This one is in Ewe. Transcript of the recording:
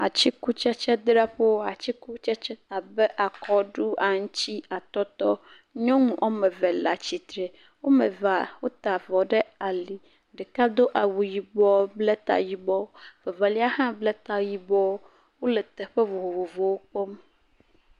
Atsikutsetsedzraƒewo; atsikutsetse abe akɔɖu, aŋutsi, atɔtɔ. Nyɔnu wo ame eve le atsitre. Wo ame eve wota avɔ ɖe ali. Ɖeka do awu yibɔ bla ta yibɔ. Evelia hã bla ta yibɔ. Wole teƒe vovovowo kpɔm.